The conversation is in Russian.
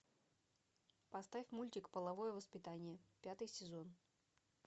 поставь мультик половое воспитание пятый сезон